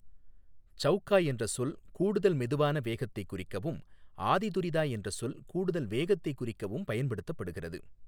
சௌகா என்ற சொல் கூடுதல் மெதுவான வேகத்தை குறிக்கவும், ஆதி துரிதா என்ற சொல் கூடுதல் வேகத்தை குறிக்கவும் பயன்படுத்தப்படுகிறது.